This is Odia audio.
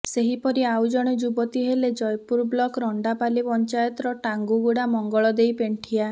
ସେହିପରି ଆଉ ଜଣେ ଯୁବତୀ ହେଲେ ଜୟପୁର ବ୍ଲକ ରଣ୍ଡାପାଲି ପଞ୍ଚାୟତର ଟାଙ୍କୁଗୁଡ଼ା ମଙ୍ଗଳଦେଇ ପେଣ୍ଠିଆ